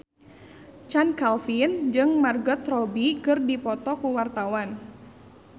Chand Kelvin jeung Margot Robbie keur dipoto ku wartawan